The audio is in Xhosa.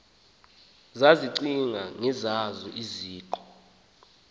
zazicinga ngezazo iziqu